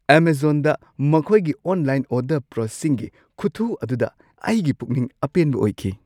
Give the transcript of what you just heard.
ꯑꯦꯃꯖꯣꯟꯗ ꯃꯈꯣꯏꯒꯤ online order ꯄ꯭ꯔꯣꯁꯦꯁꯤꯡꯒꯤ ꯈꯨꯊꯨ ꯑꯗꯨꯗ ꯑꯩꯒꯤ ꯄꯨꯛꯅꯤꯡ ꯑꯄꯦꯟꯕ ꯑꯣꯏꯈꯤ ꯫